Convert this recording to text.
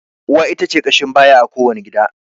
Uwa ita ce ƙashin baya a ko wani gida.